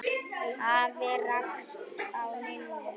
Afi rakst á Lillu.